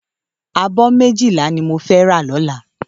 Àbó méjilá ni mó fè rá lòlá